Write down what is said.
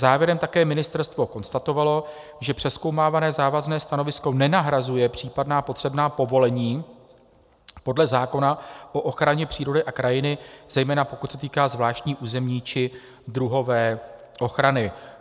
Závěrem také ministerstvo konstatovalo, že přezkoumávané závazné stanovisko nenahrazuje případná potřebná povolení podle zákona o ochraně přírody a krajiny, zejména pokud se týká zvláštní územní či druhové ochrany.